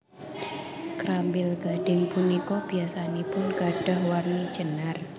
Krambil gadhing punika biyasanipun gadhah warni jenar